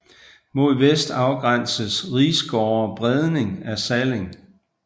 Mod vest afgrænses Risgårde Bredning af Salling